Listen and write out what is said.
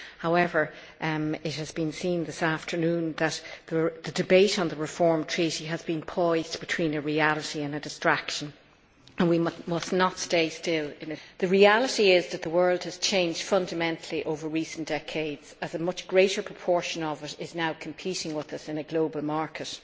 However, it has been seen this afternoon that the debate on the Reform Treaty has been poised between a reality and a distraction, and we must not stand still in its wake. The reality is that the world has changed fundamentally over recent decades, as a much greater proportion of it is now competing with us in a global market.